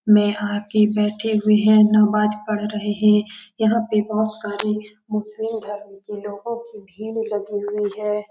बैठे हुए हैं नमाज़ पढ़ रहे है यहाँ पे बहुत सारे मुस्लिम धर्म के लोगों की भीड़ लगी हुई हैं।